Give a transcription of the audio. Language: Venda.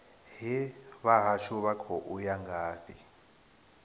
hee vhahashu vha khou ya ngafhi